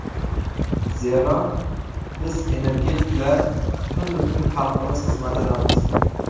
Zero, biz energetiklar tun-u kun xalqimiz xizmatidamiz.